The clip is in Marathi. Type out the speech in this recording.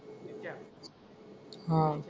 आह